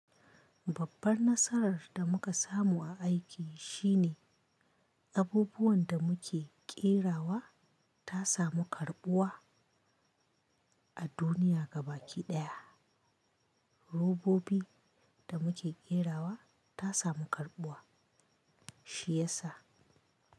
Babban nasarar da muka samu a aiki shine abubuwan da muke ƙera wa ta samu karɓuwa a duniya gabaki ɗaya. Robobi da muke ƙera wa ta samu karɓuwa shi yasa.